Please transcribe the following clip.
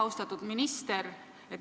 Austatud minister!